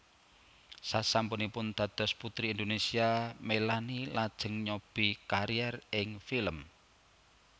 Sasampunipun dados Puteri Indonésia Melanie lajeng nyobi kariér ing film